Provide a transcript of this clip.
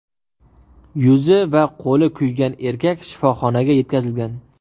Yuzi va qo‘li kuygan erkak shifoxonaga yetkazilgan.